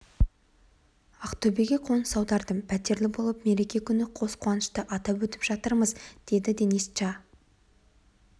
ақтөбеге қоныс аудардым пәтерлі болып мереке күні қос қуанышты атап өтіп жатырмыз деді денис ча